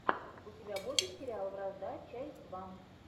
у тебя будет сериал вражда часть два